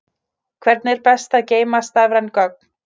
Hvernig er best að geyma stafræn gögn?